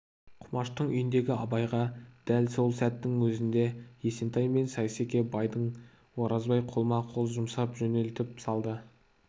құмаштың үйіндегі абайға дәл сол сәттің өзінде есентай мен сейсеке байды оразбай қолма-қол жұмсап жөнелтіп салды